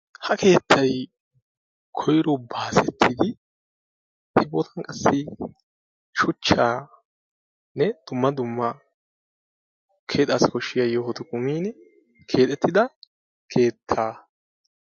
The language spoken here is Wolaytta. ha keettay koyro baasettidi ubbaka qassi shuchchaanne dumma dumma keexxassi koshiya yohoti kumiini keexxetidda keettaa